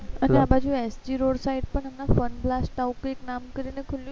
અચ્છા અને આ બાજુ SGroad આ બાજુ fun glass કરીને એવું કઈ નામ કરીને ખૂલું છે